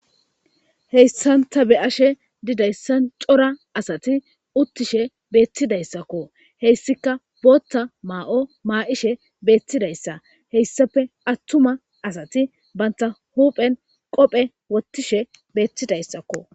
Haysan ta be'ashe didaysan cora asat utishe betidaysako hesika bootha may'o mayishe betidaysa hesappe atuma asat banta huphen qophe wothishe betidaysako